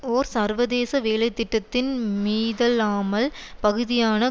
ஒரு சர்வதேச வேலை திட்டத்தின் மீதலாமல் பகுதியான